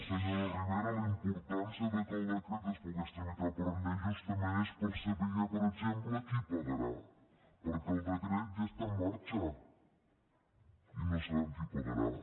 senyora ribera la importància que el decret es pogués tramitar per llei justament és per saber per exemple qui pagarà perquè el decret ja està en marxa i no sabem qui pa garà